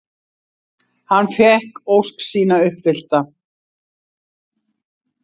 Hann fékk ósk sína uppfyllta.